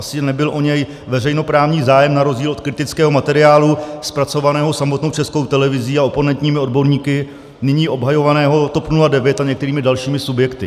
Asi nebyl o něj veřejnoprávní zájem, na rozdíl od kritického materiálu zpracovaného samotnou Českou televizí a oponentními odborníky nyní obhajovaného TOP 09 a některými dalšími subjekty.